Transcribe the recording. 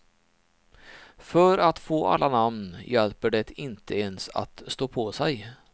För att få alla namn hjälper det inte ens att stå på sig.